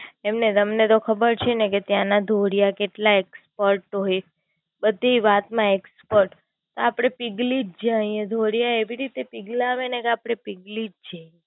એટલે તમને તો ખબર છે ને કે ત્યાંના ઢોલિયા કેટલા હોઈ? બ Expert ધી વાત માં Expert. આપડે પીગળી જ જઈએ ઢોલિયા એવી રીતે પીગળાવે ને આપડે પીગળી જ જય એ.